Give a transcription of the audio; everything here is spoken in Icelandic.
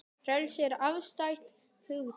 Frelsi er afstætt hugtak